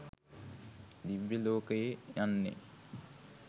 දිව්‍ය ලෝකයේ යන්නේ